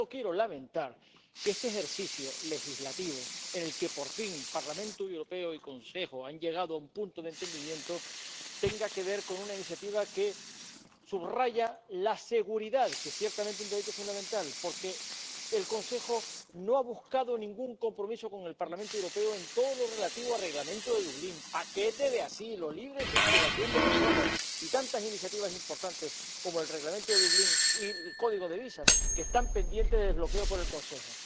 Solo quiero lamentar que este ejercicio legislativo, en el que por fin el Parlamento Europeo y el Consejo han llegado a un punto de entendimiento, tenga que ver con una iniciativa que subraya la seguridad, que es ciertamente un derecho fundamental, porque el Consejo no ha buscado ningún compromiso con el Parlamento Europeo en todo lo relativo al Reglamento de Dublín, paquete de asilo, libre circulación de personas y tantas iniciativas importantes como el Reglamento de Dublín y el código de visados, que están pendientes de desbloqueo por el Consejo.